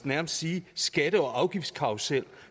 nærmest sige skatte og afgiftskarrusel